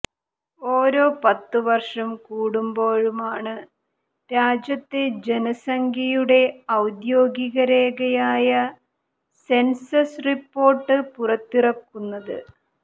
ഓരോ പത്ത് വര്ഷം കൂടുമ്പോഴുമാണ് രാജ്യത്തെ ജനസംഖ്യയുടെ ഓദ്യോഗിക രേഖയായ സെന്സസ് റിപ്പോര്ട്ട് പുറത്തിറക്കുന്നത്